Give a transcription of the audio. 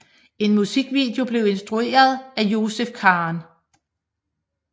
En musikvideo blev instrueret af Joseph Khan